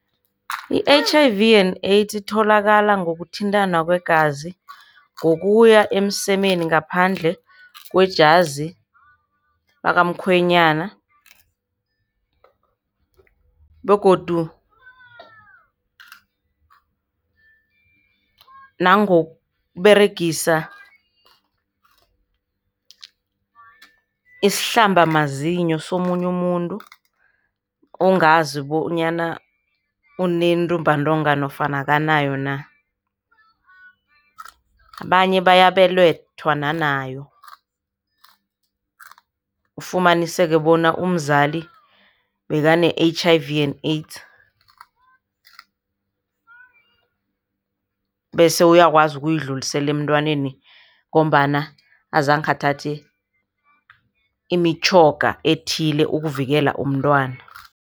I-H_I_V and AIDS itholakala ngokuthintana kwegazi, ngokuya emsemeni ngaphandle kwejazi lakamkhwenyana begodu nangokuberegisa isihlambamazinyo somunye umuntu ongazi bonyana unentumbantonga nofana akanayo na. Abanye bayabelethwa nanayo, ufumaniseke bona umzali bekane-H_I_V and AIDS bese uyakwazi ukuyidlulisela emntwaneni ngombana azange athathe imitjhoga ethile ukuvikela umntwana.